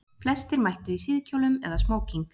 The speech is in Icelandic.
Flestir mættu í síðkjólum eða smóking